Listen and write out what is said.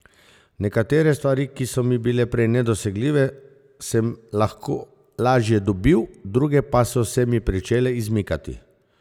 Nekatere stvari, ki so mi bile prej nedosegljive, sem lahko lažje dobil, druge pa so se mi pričele izmikati.